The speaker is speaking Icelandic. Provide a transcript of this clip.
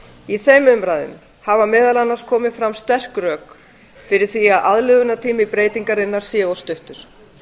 í þeim umræðum hafa meðal annars komið fram sterk rök fyrir því að aðlögunartími breytingarinnar sé of stuttur